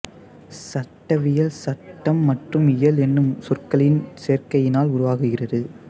சட்டவியல் சட்டம் மற்றும் இயல் என்னும் சொற்களின் சேர்க்கையினால் உருவாகிறது